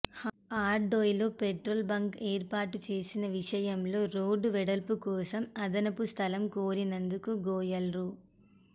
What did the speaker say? హర్దోయ్ లో petrol bunk ఏర్పాటు చేసే విషయంలో రోడ్డు వెడల్పు కోసం అదనపు స్థలం కోరినందుకు గోయల్ రూ